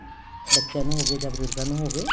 ਬੱਚਿਆਂ ਨੂੰ ਹੋਵੇ ਜਾਂ ਬਜੁਰਗਾ ਨੂੰ ਹੋਵੇ